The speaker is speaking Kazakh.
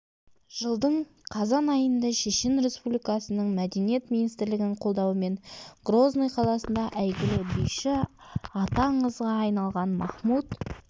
жылдың қазан айында шешен республикасының мәдениет министрлігінің қолдауымен грозный қаласында әйгілі биші аты аңызға айналған махмуд